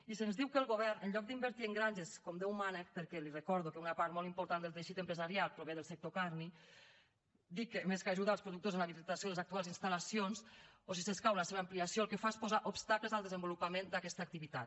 i se’ns diu que el govern en lloc d’invertir en granges com déu mana perquè li recordo que una part molt important del teixit empresarial prové del sector carni dic que més que ajudar als productors en l’habilitació de les actuals instal·lacions o si s’escau la seva ampliació el que fa és posar obstacles al desenvolupament d’aquesta activitat